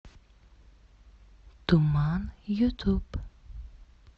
туман ютуб